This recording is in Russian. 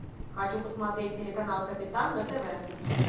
хочу посмотреть телеканал капитан на тв